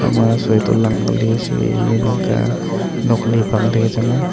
ekha ma soi toh lang ke li nokoli bang tai kya chang a.